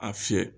A fiyɛ